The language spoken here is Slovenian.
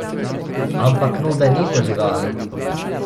Ampak Nube niso živali.